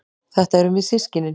Þetta erum við systkinin.